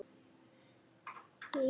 Hrærðu af og til.